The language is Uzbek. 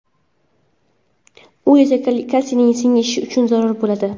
U esa kalsiyning singishi uchun zarur bo‘ladi.